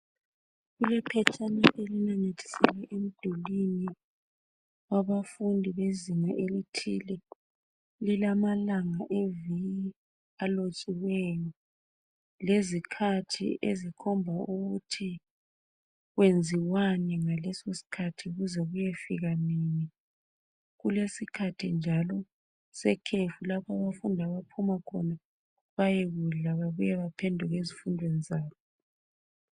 Kulephetshana elinanyathiselwe emdulini wabafundi bezinga elithile. Lilamalanga eviki alotshiweyo lezikhathi ezikhomba ukuthi kwenziwani ngalesosikhathi kuze kuyefika nini. kulesikhathi njalo sekhefu lapho abafundi abaphuma khona bayekudla babuye baphenduke ezifundweni zabo.